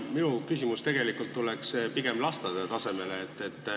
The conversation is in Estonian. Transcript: Minu küsimus tuleb pigem lasteaiataseme kohta.